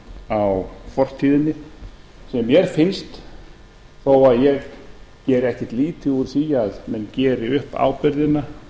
á fortíðinni sem mér finnst þó að ég geri ekkert lítið úr því að menn geri upp ábyrgðina